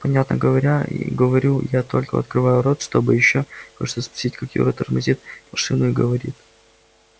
понятно говорю я и только открываю рот чтобы ещё кое-что спросить как юра тормозит машину и говорит